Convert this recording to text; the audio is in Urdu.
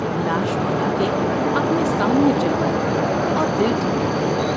لاش منگا کے اپنے سامنے جلوائی اور دل ٹھنڈا کیا ۔